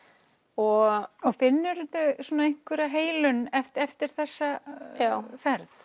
og finnurðu einhvers heilun eftir þessa ferð